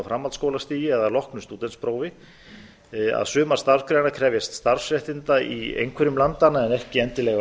framhaldsskólastigi eða loknu stúdentsprófi að sumar starfsgreinar krefjast starfsréttinda í einhverjum landanna en ekki endilega